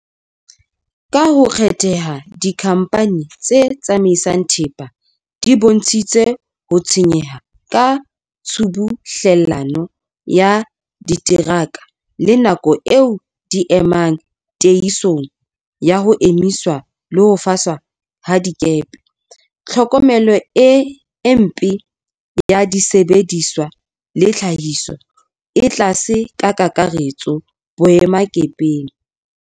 Ka ho kgetheha, dikhamphani tse tsamaisang thepa di bontshitse ho tshwenyeha ka tshubuhlellano ya diteraka le nako eo di e emang, tiehiso ya ho emiswa le ho faswa ha dikepe, tlhokomelo e mpe ya disebediswa le tlhahiso e tlase ka kakaretso boemakepeng.